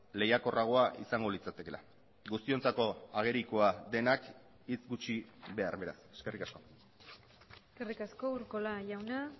lehiakorragoa izango litzatekeela guztiontzako agerikoa denak hitz gutxi behar beraz eskerrik asko eskerrik asko urkola jauna